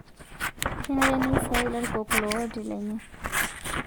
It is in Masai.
Kenare neisiai larikok looti lenye